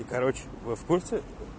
короче вы в курсе